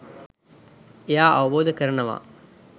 එයා අවබෝධ කරනවා